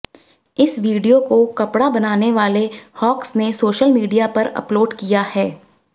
इस वीडियो को कपड़ा बनाने वाले होक्स ने सोशल मीडिया पर अपलोड किया है